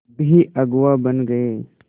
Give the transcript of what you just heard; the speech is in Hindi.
भी अगुवा बन गए